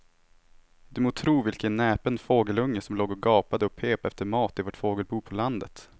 Du må tro vilken näpen fågelunge som låg och gapade och pep efter mat i vårt fågelbo på landet.